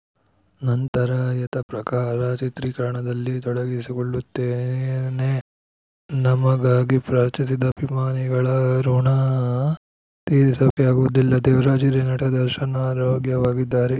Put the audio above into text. ನಂತರ ಯಥಾಪ್ರಕಾರ ಚಿತ್ರೀಕರಣದಲ್ಲಿ ತೊಡಗಿಸಿಕೊಳ್ಳುತ್ತೇನೆ ನಮಗಾಗಿ ಪ್ರಾರ್ಥಿಸಿದ ಅಭಿಮಾನಿಗಳ ಋುಣ ತೀರಿಸೋಕೆ ಆಗುವುದಿಲ್ಲ ದೇವರಾಜ್‌ ಹಿರಿಯ ನಟ ದರ್ಶನ್‌ ಆರೋಗ್ಯವಾಗಿದ್ದಾರೆ